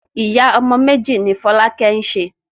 Ìyá ọmọ méjì ni Fọlákẹ́ ń ṣe.